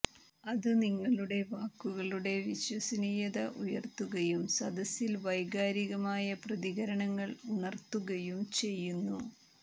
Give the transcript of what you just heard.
അത് നിങ്ങളുടെ വാക്കുകളുടെ വിശ്വസനീയത ഉയർ ത്തുകയും സദസ്സിൽ വൈകാരികമായ പ്രതികരണങ്ങൾ ഉണർത്തുകയും ചെയ്യുന്നു